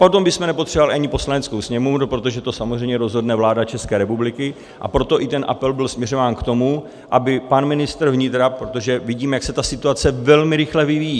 Potom bychom nepotřebovali ani Poslaneckou sněmovnu, protože to samozřejmě rozhodne vláda České republiky, a proto i ten apel byl směřován k tomu, aby pan ministr vnitra - protože vidíme, jak se ta situace velmi rychle vyvíjí.